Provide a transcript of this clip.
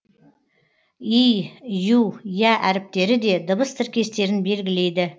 и ю я әріптері де дыбыс тіркестерін белгілейді